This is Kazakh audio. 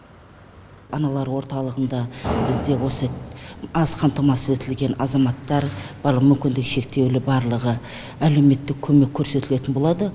аналар орталығында бізде осы аз қамтамасыз етілген азаматтар бар мүмкіндігі шектеулі барлығы әлеуметтік көмек көрсетілетін болады